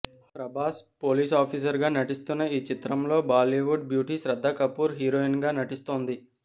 Prabhas police officer గా నటిస్తున్న ఈ చిత్రంలో బాలీవుడ్ బ్యూటీ శ్రద్ధ కపూర్ హీరోయిన్ గా నటిస్తోంది